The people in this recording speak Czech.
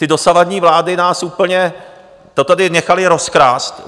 Ty dosavadní vlády nás úplně... to tady nechaly rozkrást.